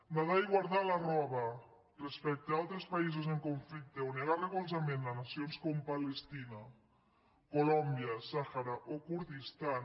nedar i guardar la roba respecte a altres països en conflicte o negar recolzament a nacions com palestina colòmbia el sàhara o el kurdistan